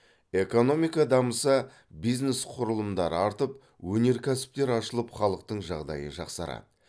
экономика дамыса бизнес құрылымдары артып өнеркәсіптер ашылып халықтың жағдайы жақсарады